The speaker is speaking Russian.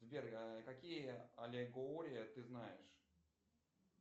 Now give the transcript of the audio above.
сбер какие аллегории ты знаешь